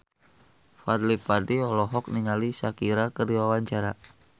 Fadly Padi olohok ningali Shakira keur diwawancara